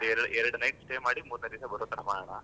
ಎರಡ್ ಎರಡ್ night stay ಮಾಡಿ ಮೂರನೇ ದಿವಸ ಬರುತರ ಮಾಡೋಣ.